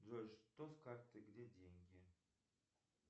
джой что с картой где деньги